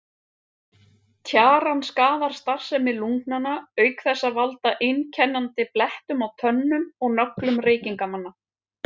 Tjaran skaðar starfsemi lungnanna auk þessa að valda einkennandi blettum á tönnum og nöglum reykingamanna.